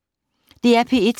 DR P1